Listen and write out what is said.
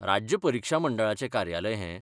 राज्य परिक्षा मंडळाचें कार्यालय हें?